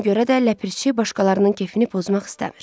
Buna görə də ləpirçi başqalarının kefini pozmaq istəmir.